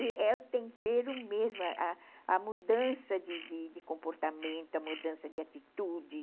E é o tempero mesmo, a a mudança de de comportamento, a mudança de atitude.